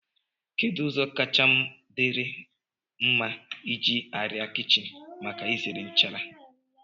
kedu ụzọ kacha dịrị mma iji arịa kichin maka izere nchara?